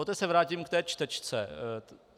Poté se vrátím k té čtečce.